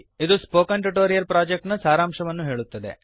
ಇದು spoken tutorial project ನ ಸಾರಾಂಶವನ್ನು ಹೇಳುತ್ತದೆ